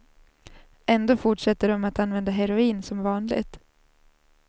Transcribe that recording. Ändå fortsätter de att använda heroin som vanligt.